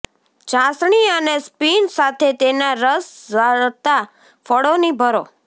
ચાસણી અને સ્પિન સાથે તેનાં રસ ઝરતાં ફળોની ભરો